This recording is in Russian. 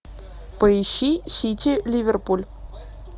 поищи сити ливерпуль